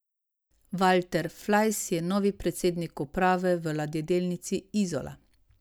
Valter Flajs je novi predsednik uprave v Ladjedelnici Izola.